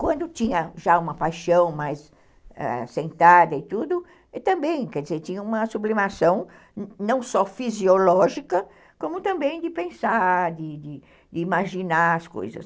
Quando tinha já uma paixão mais sentada e tudo, também, quer dizer, tinha uma sublimação não só fisiológica, como também de pensar, de de de imaginar as coisas.